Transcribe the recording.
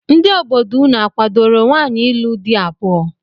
Ndị obodo unu akwadoro nwaanyị ịlụ di abụọ?